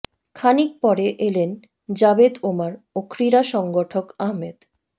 খানিক পরে এলেন জাভেদ ওমর ও ক্রীড়া সংগঠক আহমেদ